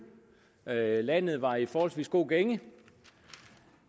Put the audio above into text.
og at landet var i en forholdsvis god gænge